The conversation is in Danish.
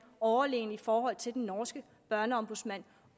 overlegne i forhold til den norske børneombudsmand